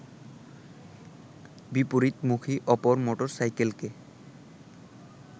বিপরীতমুখী অপর মোটরসাইকেলকে